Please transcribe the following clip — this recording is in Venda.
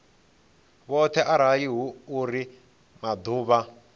vhoṱhe arali hu uri maḓuvha